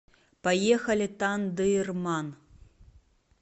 поехали тандырман